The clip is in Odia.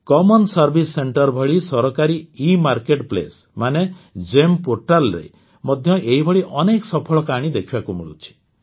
ସାଧାରଣ ସେବା କେନ୍ଦ୍ର ଭଳି ସରକାରୀ ଏ ମାର୍କେଟ୍ ପ୍ଲେସ୍ ମାନେ ଜିଇଏମ୍ ପୋର୍ଟାଲ ମଧ୍ୟ ଏହିଭଳି ଅନେକ ସଫଳ କାହାଣୀ ଦେଖିବାକୁ ମିଳୁଛି